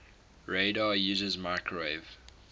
radar uses microwave